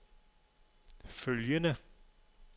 følgende